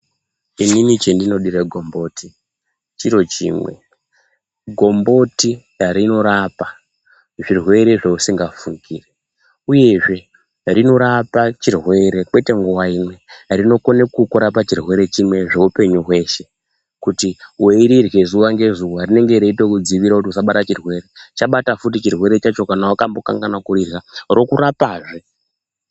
Inini chendino dire gomboti chiro chimwe, gomboti rinorapa zvirwere zvousinga fungiri. Uyezve rinorapa chirwere kwete nguwa imwe, rinokone kukurapa chirwere chimwe zveupenyu hweshe. Kuti weirirye zuwa ngezuwa rinenge reito kudzivirira kuti usabatwa chirwere. Chabata futi chirwere chacho kana wakambo kanganwa kurirya, rokurapazve.